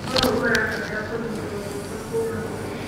ũũ ũrabatara kũnyitwo guoko kuuma kũrĩ